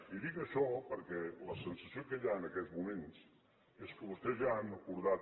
i dic això perquè la sensació que hi ha en aquests moments és que vostès ja han acordat